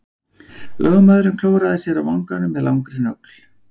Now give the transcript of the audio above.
Lögmaðurinn klóraði sér á vanganum með langri nögl.